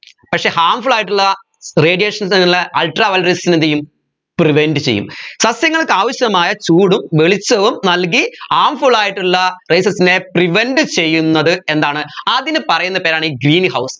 പക്ഷെ harmful ആയിട്ടുള്ള radiations ഉള്ള ultraviolet rays നെ എന്ത് ചെയ്യും prevent ചെയ്യും സസ്യങ്ങൾക്ക് ആവശ്യമായ ചൂടും വെളിച്ചവും നൽകി harmful ആയിട്ടുള്ള rayses നെ prevent ചെയ്യുന്നത് എന്താണ് അതിന് പറയുന്ന പേരാണ് greenhouse